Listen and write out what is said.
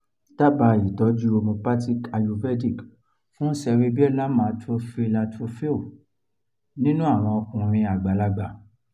daba itọju homeopathic/ayurvedic fún cerebellar atrophy atrophy nínú àwọn ọkùnrin àgbàlagbà